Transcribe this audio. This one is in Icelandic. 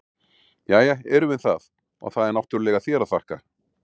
Jæja, erum við það, og það er náttúrlega þér að þakka!